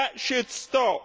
That should stop.